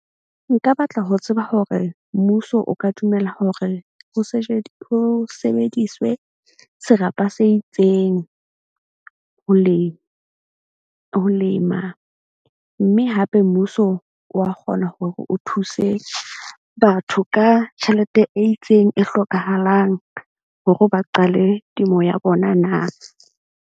Nka batla ho tseba hore mmuso o ka dumela hore ho ho sebediswe serapa se itseng ho lema mme hape mmuso wa kgona hore o thuse batho ka tjhelete e itseng e hlokahalang hore ba qale temo ya bona na.